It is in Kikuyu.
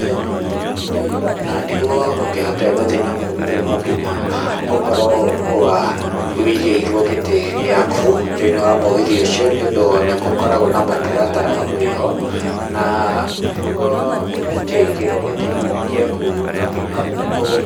Ũyũ nĩ mũgithi na nĩ guo ũkĩhote gũthiĩ na mũgithi no nginya ũkorwo wũigĩirwo gĩtĩ gĩaku thĩinĩ wa mũgithi ũcio nĩ ũndũ nĩ gũkoragwo na mũtaratara wĩho na nĩguo ũkĩigĩrwo gĩtĩ gĩaku no nginya